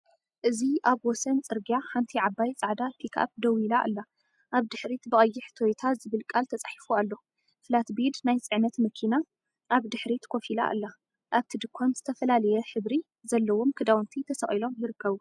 እዚ ኣብ ወሰን ጽርግያ ሓንቲ ዓባይ ጻዕዳ ፒክኣፕ ደው ኢላ ኣላ። ኣብ ድሕሪት ብቐይሕ “ቶይታ” ዝብል ቃል ተጻሒፉ ኣሎ። ፍላትቤድ ናይ ጽዕነት መኪና ኣብ ድሕሪት ኮፍ ኢላ ኣላ። ኣብቲ ድኳን ዝተፈላለየ ሕብሪ ዘለዎም ክዳውንቲ ተሰቒሎም ይርከቡ።